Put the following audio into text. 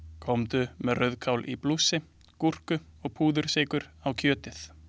Komdu með rauðkál í blússi, gúrku og púðursykur á kjötið.